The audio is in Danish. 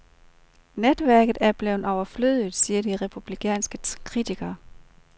Netværket er blevet overflødigt, siger de republikanske kritikere.